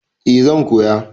Eh zan koya.